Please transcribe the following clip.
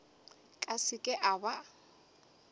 ka se ke a ba